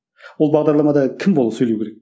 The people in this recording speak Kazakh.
ол бағдарламада кім болып сөйлеу керек